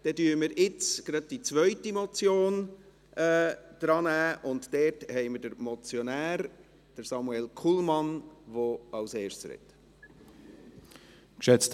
Dann nehmen wir jetzt die zweite Motion dran, und dort haben wir den Motionär, Samuel Kullmann, der als Erster redet.